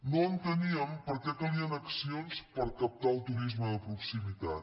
no enteníem per què calien accions per captar el turisme de proximitat